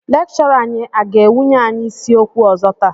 Lékchọrà anyị a ga-wnye anyị isi ókwu ọzọ taa?